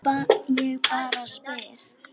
Þeir velta bátnum við.